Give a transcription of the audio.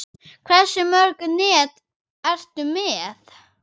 Hversu mörg net ertu með?